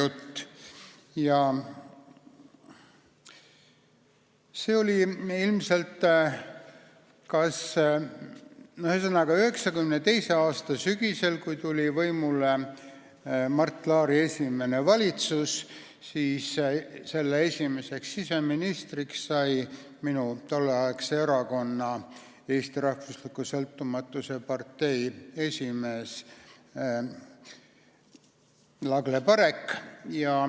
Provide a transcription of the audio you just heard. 1992. aasta sügisel tuli võimule Mart Laari esimene valitsus ja selle esimeseks siseministriks sai minu tolleaegse erakonna Eesti Rahvusliku Sõltumatuse Partei esimees Lagle Parek.